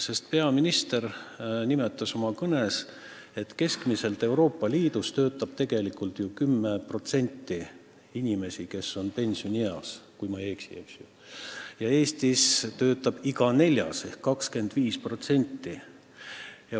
Sest peaminister nimetas oma kõnes, et keskmiselt Euroopa Liidus töötab 10% pensioniikka jõudnud inimesi – loodan, et ma ei eksi – ja Eestis töötab iga neljas ehk 25%.